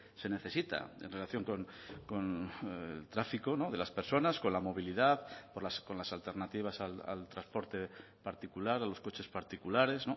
se necesita en relación con el tráfico de las personas con la movilidad con las alternativas al transporte particular a los coches particulares